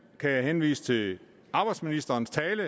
kan jeg henvise til arbejdsministerens tale